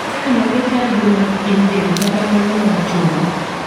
sel mage chal gi mag pien del kata mago mag chogo.